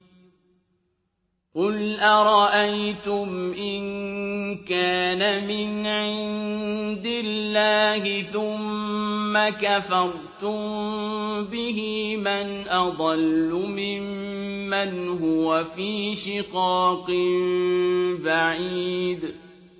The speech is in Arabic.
قُلْ أَرَأَيْتُمْ إِن كَانَ مِنْ عِندِ اللَّهِ ثُمَّ كَفَرْتُم بِهِ مَنْ أَضَلُّ مِمَّنْ هُوَ فِي شِقَاقٍ بَعِيدٍ